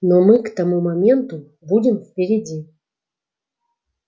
но мы к тому моменту будем впереди